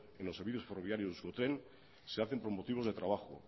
en los servicios ferroviarios de euskotren se hacen por motivos de trabajo